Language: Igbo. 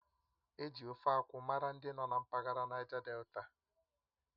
Eji Ofe akwụ mara ndị nọ na mpaghara Naija Delta